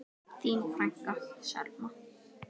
Þín frænka, Selma.